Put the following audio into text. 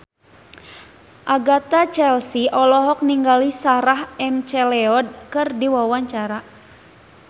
Agatha Chelsea olohok ningali Sarah McLeod keur diwawancara